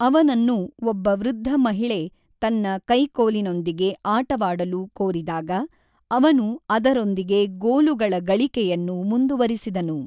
ಅವನನ್ನು ಒಬ್ಬ ವೃದ್ಧ ಮಹಿಳೆ ತನ್ನ ಕೈಕೋಲಿನೊಂದಿಗೆ ಆಟವಾಡಲು ಕೋರಿದಾಗ, ಅವನು ಅದರೊಂದಿಗೆ ಗೋಲುಗಳ ಗಳಿಕೆಯನ್ನು ಮುಂದುವರಿಸಿದನು.